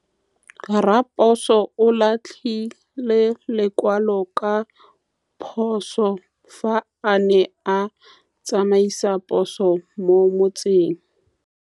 Raposo o latlhie lekwalô ka phosô fa a ne a tsamaisa poso mo motseng.